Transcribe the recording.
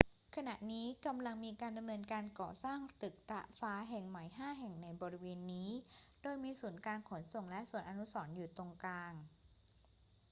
ขณะนี้กำลังมีการดำเนินการก่อสร้างตึกระฟ้าแห่งใหม่ห้าแห่งในบริเวณนี้ โดยมีศูนย์การขนส่งและสวนอนุสรณ์อยู่ตรงกลาง